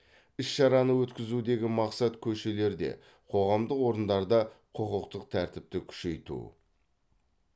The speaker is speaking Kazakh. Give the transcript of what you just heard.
іс шараны өткізудегі мақсат көшелерде қоғамдық орындарда құқықтық тәртіпті күшейту